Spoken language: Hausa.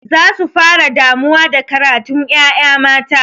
Za su fara damuwa da karatun ƴaƴa mata.